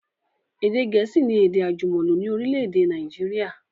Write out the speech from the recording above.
Èdè gẹ̀ẹ́sì ni èdè àjùmọ̀lò ni orílẹ̀èdè Nàìjíríà